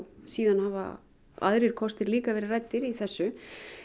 síðan hafa aðrir kostir líka verið ræddir í þessu